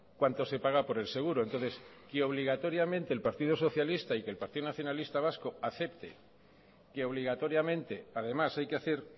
cuánto se paga por el seguro entonces que obligatoriamente el partido socialista y que el partido nacionalista vasco acepte que obligatoriamente además hay que hacer